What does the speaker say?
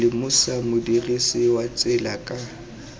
lemosa modirisi wa tsela ka